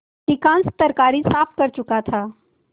अधिकांश तरकारी साफ कर चुका था